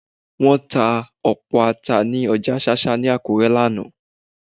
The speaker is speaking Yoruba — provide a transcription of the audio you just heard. Wọ́n ta ọ̀pọ̀ Ata ní ọjà ṣáṣá ní Akure lánàá